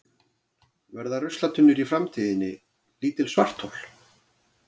Verða ruslatunnur í framtíðinni lítil svarthol?